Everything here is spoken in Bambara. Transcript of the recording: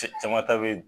Cɛ jama ta be